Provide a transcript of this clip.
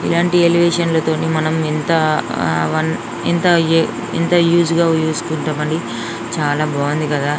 ఇలాంటి ఎలివేషన్లతో నే మనం ఇంత హ వన్ ఇంత ఏ యూస్ గా చూసుకుంటామండి చాలా బాగుంది కదా.